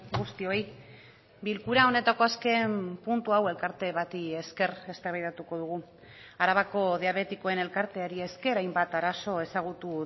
guztioi bilkura honetako azken puntu hau elkarte bati esker eztabaidatuko dugu arabako diabetikoen elkarteari esker hainbat arazo ezagutu